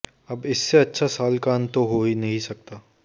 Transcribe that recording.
अब इससे अच्छा साल का अंत तो हो ही नहीं सकता